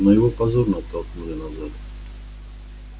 но его позорно оттолкнули назад